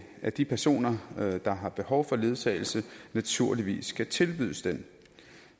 at de personer der har behov for ledsagelse naturligvis skal tilbydes den